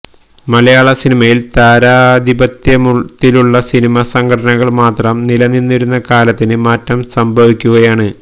മലയാള സിനിമയില് താരാധിപത്യത്തിലുള്ള സിനിമ സംഘടനകള് മാത്രം നിലനിന്നിരുന്ന കാലത്തിന് മാറ്റം സംഭവിക്കുകയാണ്